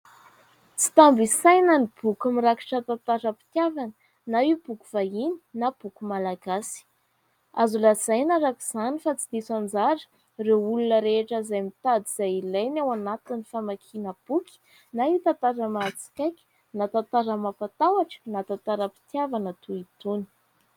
Tsy tambo isaina ny boky mirakitra tantaram-pitiavana na io boky vahiny na boky malagasy. Azo lazaina araka izany fa tsy diso anjara ireo olona rehetra izay mitady izay ilainy ao anatin'ny famakiana boky na io tantara mahatsikaiky na tantara mampatahotra na tantaram-pitiavana toy itony.